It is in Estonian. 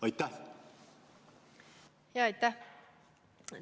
Aitäh!